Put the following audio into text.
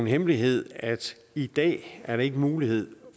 hemmelighed at i dag er der ikke mulighed